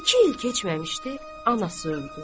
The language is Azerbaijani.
İki il keçməmişdi, anası öldü.